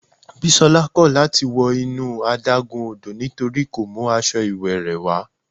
Bisola kò láti wọ inú adágún odò nítorí kò mú aṣọ ìwẹ̀ rẹ̀ wá.